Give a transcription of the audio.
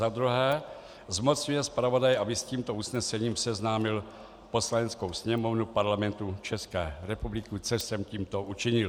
Za druhé zmocňuje zpravodaje, aby s tímto usnesením seznámil Poslaneckou sněmovnu Parlamentu České republiky, což jsem tímto učinil.